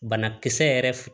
Banakisɛ yɛrɛ